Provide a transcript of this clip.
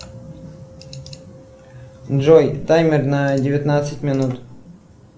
джой таймер на девятнадцать минут